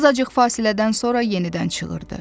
Azacıq fasilədən sonra yenidən çığırdı.